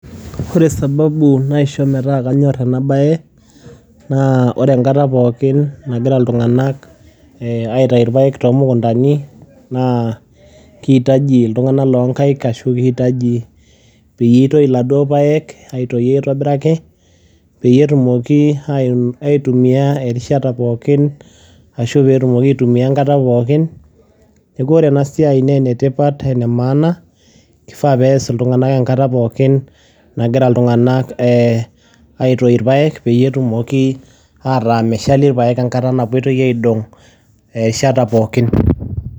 Wore sababu naisho metaa kanyorr enaabaye, naa wore enkata pookin nagira iltunganak eeh aitayu irpayiek toomukundani naa kiitaji iltunganak loo inkait ashu kiitaji peyie itoi iladuo payiek, aitoi aitobiraki peyie etumoki aitumia erishata pookin ashu peetumoki aitumia enkata pookin. Niaku wore enasiai naa enetipat enemaana, kifaa peyie aas iltunganak enkata pookin nagira iltunganak eeh aitoi irpayiek peyie etumoki ataa meshali irpayiek enkata napoitoi aidong erishata pookin.